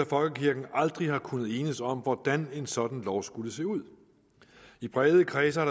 folkekirken aldrig har kunnet enes om hvordan en sådan lov skulle se ud i brede kredse har